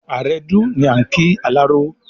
"Àrẹdù" ni à n kí alárọ